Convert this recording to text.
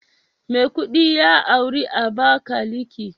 Maikudi ya auri Abakalaki